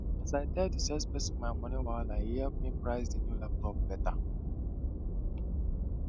as i tell the salesperson my moni wahala e help me price the new laptop better